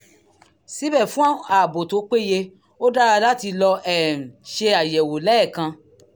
síbẹ̀ fún ààbò tó péye ó dára láti lọ um ṣe àyẹ̀wò lẹ́ẹ̀kan